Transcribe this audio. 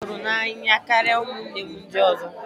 Nna m hụrụ m n'anya karịa ụmụnne m ndị ọzọ